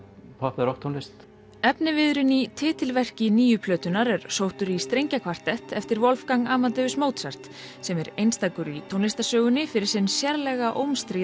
popp eða rokktónlist efniviðurinn í titilverki nýju plötunnar er sóttur í strengjakvartett eftir Wolfgang Amadeus Mozart sem er einstakur í tónlistarsögunni fyrir sérlega